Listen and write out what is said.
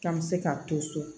K'an bɛ se k'a to so